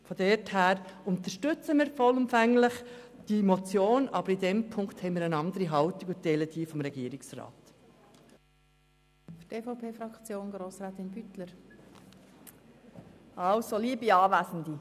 Daher unterstützen wir vollumfänglich eine Motion, aber bei dieser Ziffer haben wir eine andere Haltung beziehungsweise teilen jene des Regierungsrats.